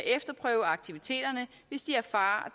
efterprøve aktiviteterne hvis de erfarer